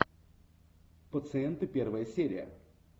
пациенты первая серия